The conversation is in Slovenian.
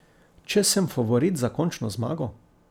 Če sem favorit za končno zmago?